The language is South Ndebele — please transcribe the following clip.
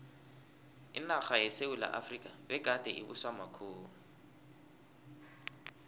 inarha yesewula efrika begade ibuswa makhuwa